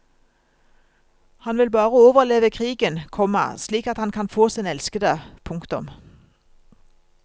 Han vil bare overleve krigen, komma slik at han kan få sin elskede. punktum